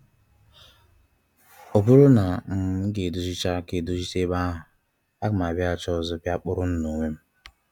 "Ọ bụrụ na um m ga-edozicha m ga-edozicha ebe ahụ, a ga m abiaghachi ọzọ bịa kpọrọ unu n'onwe m”